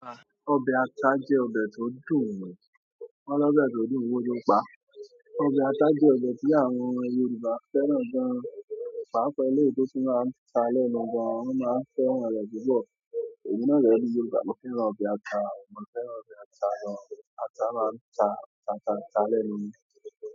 Ọbẹ̀ ata jẹ́ ọbẹ̀ tó dùn ùn. Wọ́n ní ọbẹ̀ tó dùn owó ló pa á. Ọbẹ̀ ata jẹ́ ọbẹ̀ tí àwọn Yorùbá fẹ́ràn gan. Pàápàá eléyìí tó tún máa n ta lẹ́nu gan an, wón máa n fẹ́ràn rè púpọ̀ emi náà dẹ́ni Yorùbá, mó fẹ́ràn ọbẹ̀ ata, mo fẹ́ran ọbẹ̀ ata gan. Ata máa ń ta, ta, ta lẹ́nu ni.